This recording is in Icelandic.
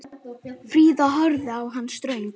Fríða horfði á hann ströng.